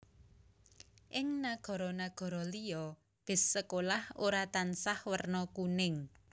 Ing nagara nagara liya bis sekolah ora tansah werna kuning